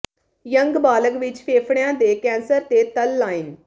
young ਬਾਲਗ ਵਿਚ ਫੇਫੜਿਆਂ ਦੇ ਕੈਂਸਰ ਤੇ ਤਲ ਲਾਈਨ